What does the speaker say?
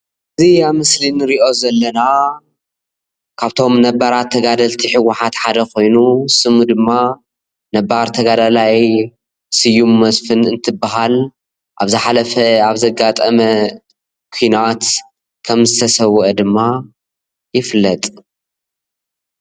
እዚ ኣብዚ ምስሊ እንሪኦ ዘለና ከብቶ ነባራት ተጋዳልቲ ሕውሓት ሓደ ኮይኑ ስሙ ድማ ነባር ተጋዳላይ ስዩም መስፉን እንትባሃል ኣብ ዝሓለፈ ኣብ ዘጋጠመ ኩናት ከም ዝተሰወኣ ድማ ይፍለጥ፡፡